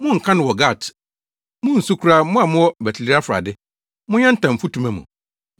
Monnka no wɔ Gat munnsu koraa Mo a mowɔ Bet-Leafra de, monyantam mfutuma mu.